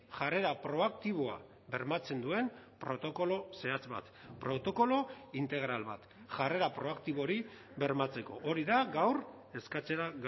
jarrera proaktiboa bermatzen duen protokolo zehatz bat protokolo integral bat jarrera proaktibo hori bermatzeko hori da gaur eskatzera